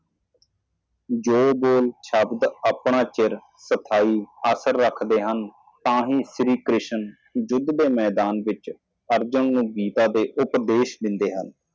ਜੋ ਆਪਣੇ ਹੀ ਬੋਲ ਬੋਲਦੇ ਹਨ ਸਫਾਈ ਬਣਾਈ ਰੱਖੀ ਜਾਂਦੀ ਹੈ ਕੇਵਲ ਤਦ ਹੀ ਸ਼੍ਰੀ ਕ੍ਰਿਸ਼ਨ ਜੰਗ ਦੇ ਮੈਦਾਨ ਤੇ ਵਿਹਾ ਅਰਜੁਨ ਨੂੰ ਉਪਦੇਸ਼ ਦਿੰਦਾ ਹੈ